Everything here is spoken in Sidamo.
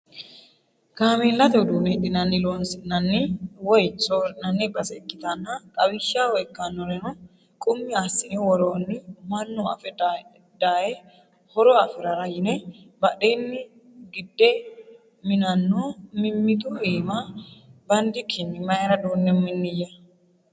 Kaameellate uduune hidhinani loosisinanni woyi soori'nanni base ikkittanna xawishshaho ikkanoreno qummi assine woroni mannu affe daaye horo afirara yine badheni gidde minano mimmitu iima bandikkini mayra duune miniya ?